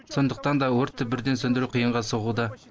сондықтан да өртті бірден сөндіру қиынға соғуда